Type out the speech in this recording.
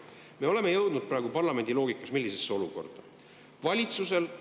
Me oleme jõudnud praegu parlamendiloogikas millisesse olukorda?